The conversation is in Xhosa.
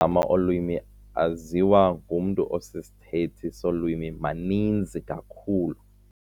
gama olwimi aziwa ngumntu osisithethi solwimi maninzi kakhulu.